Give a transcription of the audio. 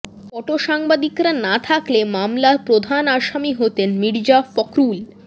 ফটোসাংবাদিকরা না থাকলে মামলার প্রধান আসামি হতেন মীর্জা ফখরুল